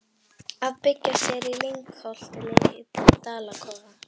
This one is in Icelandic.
Að byggja sér í lyngholti lítinn dalakofa.